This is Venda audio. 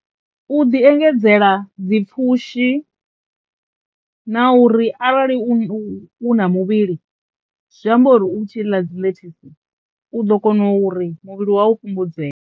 U ḓi engedzela dzi pfhushi na uri arali u, u na muvhili zwi amba uri u tshi ḽa dzi ḽethasi u ḓo kono uri muvhili wa u fhungudzee.